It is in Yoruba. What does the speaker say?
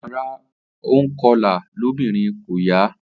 Ara ònkọlà lóbìnrin kò yà á